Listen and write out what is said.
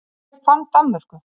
Hver fann Danmörku?